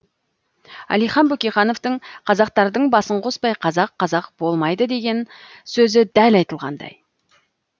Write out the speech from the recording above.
әлихан бөкейхановтың қазақтардың басын қоспай қазақ қазақ болмайды деген сөзі дәл айтылғандай